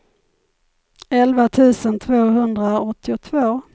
elva tusen tvåhundraåttiotvå